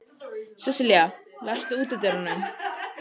Sesselía, læstu útidyrunum.